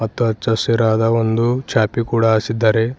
ಮತ್ತು ಅಚ್ಚ ಹಸಿರಾದ ಒಂದು ಚಾಪೆ ಕೂಡ ಹಾಸಿದ್ದಾರೆ.